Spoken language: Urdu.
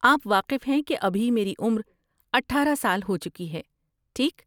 آپ واقف ہیں کہ ابھی میری عمر اٹھارہ سال ہو چکی ہے، ٹھیک؟